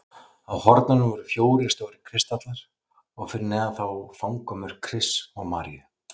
Á hornunum voru fjórir stórir kristallar og fyrir neðan þá fangamörk Krists og Maríu.